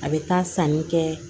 A bɛ taa sanni kɛ